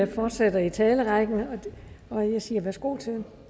vi fortsætter i talerrækken og jeg siger værsgo til